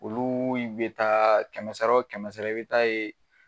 Olu be taa ,kɛmɛ wo kɛmɛ i be taa ye